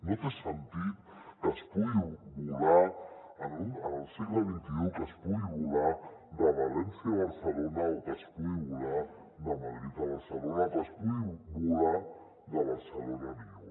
no té sentit que es pugui volar al segle xxi de valència a barcelona o que es pugui volar de madrid a barcelona o que es pugui volar de barcelona a lió